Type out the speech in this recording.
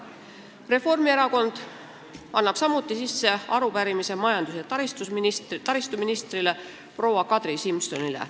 Reformierakond annab samuti üle arupärimise majandus- ja taristuministrile proua Kadri Simsonile.